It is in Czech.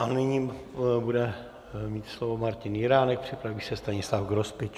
A nyní bude mít slovo Martin Jiránek, připraví se Stanislav Grospič.